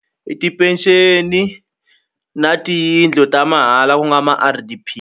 I tipenceni na tiyindlu ta mahala ku nga ma-R_D_P.